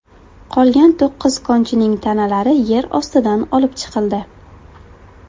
Qolgan to‘qqiz konchining tanalari yer ostidan olib chiqildi.